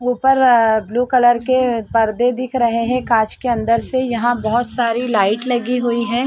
ऊपर अअ blue colour के पर्दे दिख रहे है कांच के अंदर से यहाँ बहोत सारी लाइट लगी हुई है।